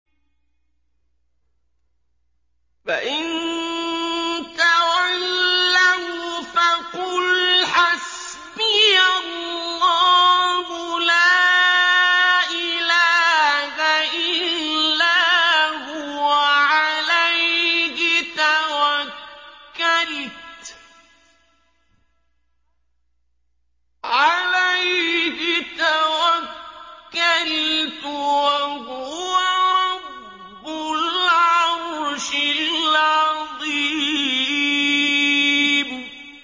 فَإِن تَوَلَّوْا فَقُلْ حَسْبِيَ اللَّهُ لَا إِلَٰهَ إِلَّا هُوَ ۖ عَلَيْهِ تَوَكَّلْتُ ۖ وَهُوَ رَبُّ الْعَرْشِ الْعَظِيمِ